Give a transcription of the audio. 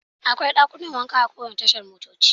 Akwai dakunan wanka a kowane tashar motoci.